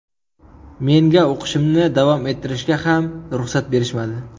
Menga o‘qishimni davom ettirishga ham ruxsat berishmadi.